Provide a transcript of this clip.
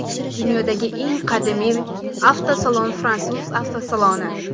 Dunyodagi eng qadimiy avtosalon fransuz avtosaloni.